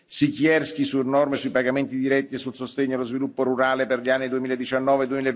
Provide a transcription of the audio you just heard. Siekierski su Norme sui pagamenti diretti e sul sostegno allo sviluppo rurale per gli anni 2019